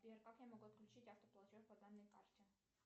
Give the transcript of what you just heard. сбер как я могу отключить автоплатеж по данной карте